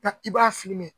Taa i b'a fili mɛn